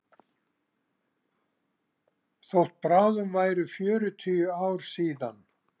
Þótt bráðum væru fjörutíu ár síðan